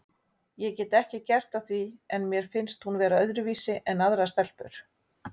Ég get ekki gert að því en mér finnst hún vera öðruvísi en aðrar stelpur.